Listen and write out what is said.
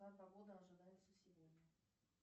какая погода ожидается сегодня